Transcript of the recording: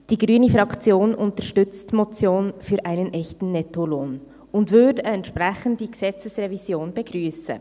Die grüne Fraktion unterstützt die Motion «Für einen echten Nettolohn», und würde eine entsprechende Gesetzesrevision begrüssen.